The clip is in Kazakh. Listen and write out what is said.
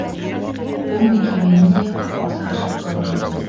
бұл мекеменің де қақпасы ашық қалған